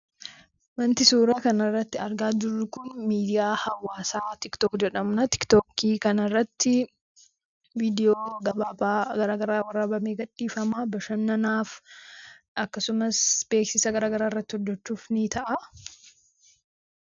Wanti suuraa kanarratti argaa jirru kun miidiyaa hawaasa tiktook jedhamudha. tiiktooki kanarratti viidiyoo gabaaba garagaraa waraabame gadhiifama. bashannanaaf akkasumas, beeksisa garagaraa irratti hojjechuuf ni ta'a.